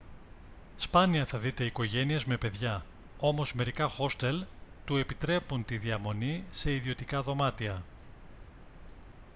σπάνια θα δείτε οικογένειες με παιδιά όμως μερικά χόστελ του επιτρέπουν τη διαμονή σε ιδιωτικά δωμάτια